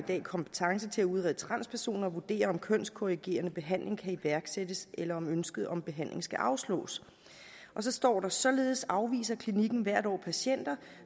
kompetence til at udrede transpersoner og vurdere om kønskorrigerende behandling kan iværksættes eller om ønsket om behandling skal afslås og så står der således afviser klinikken hvert år patienter